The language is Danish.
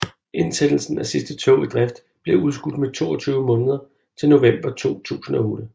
Indsættelsen af sidste tog i drift blev udskudt med 22 måneder til november 2008